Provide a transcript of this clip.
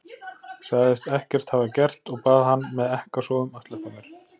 Sagðist ekkert hafa gert og bað hann með ekkasogum að sleppa mér.